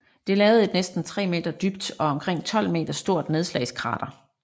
Det lavede et næsten tre meter dybt og omkring 12 meter stort nedslagskrater